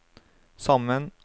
sammen